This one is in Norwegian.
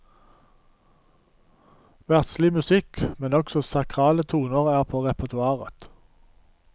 Verdslig musikk, men også sakrale toner er på repertoaret.